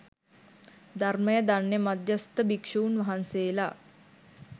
ධර්මය දන්න මධ්‍යස්ථ භික්‍ෂූන් වහන්සේලා